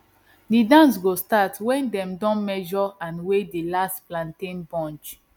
di dance go start when dem don measure and weigh di last plantain bunch